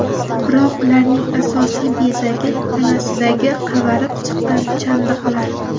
Biroq ularning asosiy bezagi tanasidagi qavarib chiqqan chandiqlar.